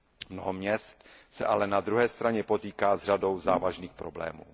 Mnoho měst se ale na druhé straně potýká s řadou závažných problémů.